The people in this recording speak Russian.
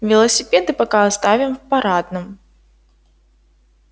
велосипеды пока оставим в парадном